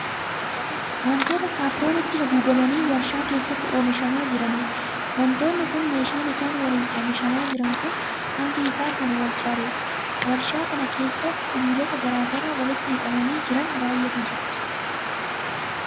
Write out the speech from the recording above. Wantoota 'kaartooniitti' haguugamanii warshaa keessatti oomishamaa jiraniidha. Wantootni kun meeshaan isaan waliin oomishamaa jiran kun hangi isaa kan wal caaluudha. Warshaa kana keessa sibiilota garaa garaa walitti hidhamanii jiran baay'eetu jira.